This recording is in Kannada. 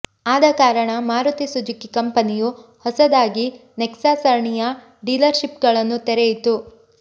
ಆದ ಕಾರಣ ಮಾರುತಿ ಸುಜುಕಿ ಕಂಪನಿಯು ಹೊಸದಾಗಿ ನೆಕ್ಸಾ ಸರಣಿಯ ಡೀಲರ್ಶಿಪ್ಗಳನ್ನು ತೆರೆಯಿತು